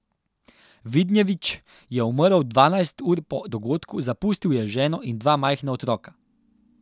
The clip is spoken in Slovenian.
Vidnjević je umrl dvanajst ur po dogodku, zapustil je ženo in dva majhna otroka.